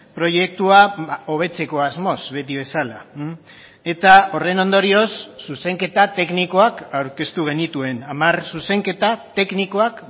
proiektua hobetzeko asmoz beti bezala eta horren ondorioz zuzenketa teknikoak aurkeztu genituen hamar zuzenketa teknikoak